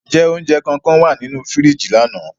Njẹ ounjẹ kankan wa ninu firiji lana?